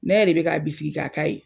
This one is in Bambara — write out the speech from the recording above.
Ne yɛrɛ de bɛ k'a bisigi k'a ka ye.